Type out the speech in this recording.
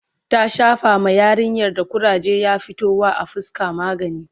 ta Shafa ma yarinyar da kuraje ya fito wa a fuska magani